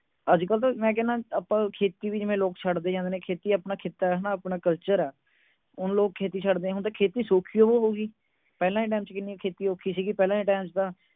ਅੱਜ ਕੱਲ ਤਾਂ ਮੈਂ ਕਹਿਣਾ ਆਪਾਂ ਖੇਤੀ ਵੀ ਜਿਵੇਂ ਲੋਕ ਛੱਡਦੇ ਜਾਂਦੇ ਨੇ ਖੇਤੀ ਅਪਣਾ ਖਿਤਾ ਹੈ ਅਪਣਾ culture ਹੈ ਹੁਣ ਲੋਕ ਖੇਤੀ ਛੱਡ ਦੇ ਹੁਣ ਤੇ ਖੇਤੀ ਓ ਸ਼ੋਖੀ ਹੀ ਬੜੀ ਹੋ ਗਈ ਪਹਿਲਾਂ ਦੇ time ਚ ਨਾ ਖੇਤੀ ਕਿੰਨੀ ਔਖੀ ਸੀ ਪਹਿਲਾਂ ਦੇ time ਚ ਨਾ